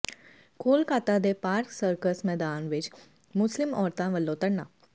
ਕੋਲਕਾਤਾ ਦੇ Park Circus ਮੈਦਾਨ ਵਿੱਚ ਮੁਸਲਿਮ ਔਰਤਾਂ ਵੱਲੋਂ ਧਰਨਾ